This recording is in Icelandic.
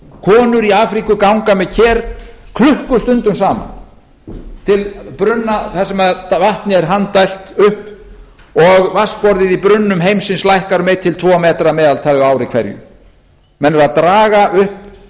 konur í afríku ganga með ker klukkustundum saman til brunna þar sem vatni er handdælt upp og vatnsborðið í brunnum heimsins lækkar um einn til tvo metra að meðaltali á ári hverju menn eru að draga upp